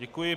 Děkuji.